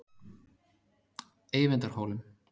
Eyvindarhólum